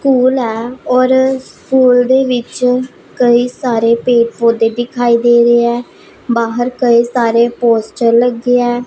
School ਐ ਔਰ school ਦੇ ਵਿੱਚ ਕਈ ਸਾਰੇ ਪੇੜ ਪੌਦੇ ਦਿਖਾਈ ਦੇ ਰਹੇ ਐ ਬਾਹਰ ਕਈ ਸਾਰੇ ਪੋਸਟਰ ਲੱਗੇ ਐ।